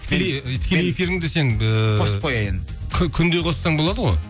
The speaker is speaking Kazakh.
тікелей тікелей эфиріңді сен ііі қосып қояйын күнде қоссаң болады ғой